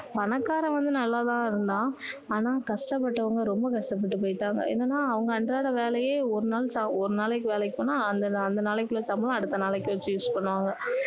பணக்கரான் வந்து நல்லா தான் இருந்தான் ஆனா கஷ்ட பட்டவங்க ரொம்ப கஷ்ட பட்டு போயிட்டாங்க என்னன்னா அவங்க அன்றாட வேலையே ஒரு நாள் ஒரு நாளைக்கு வேலைக்கு போனா அந்த நாளைக்குள்ள சம்பளம் அடுத்த நாளைக்கு வச்சு use பண்ணுவாங்க